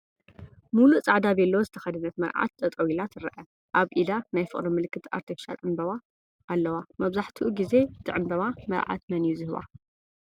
ሙሉእ ፃዕዳ ቬሎ ዝተኸደነት መርዓት ጠጠው ኢላ ትረአ፡፡ ኣብ ኢዳ ናይ ፍቕሪ ምልክት ኣርቴፊሻል ዕንበባ ኣለዋ፡፡ መብዛሕትኡ ጊዜ እቲ ዕንበባ መርዓት መን እዩ ዝህባ?